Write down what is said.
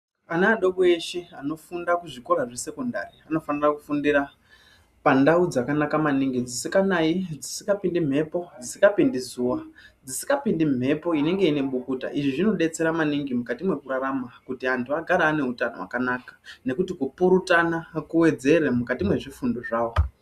Ana adoko eshe anofundira kuzvikora zvesekondari anofanire kufunda pandau dzakanaka maningi dzisikanayi, dzisikapindi mhepo, dzisikapindi zuwa, dzisikapindi mhepo inenge ine bukuta izvi zvinodetsera maningi mukati mwekurarama kuti antu agare ane utano hwakanaka nekuti kupurutana kuwedzere mukati mwezvifundo zvawo.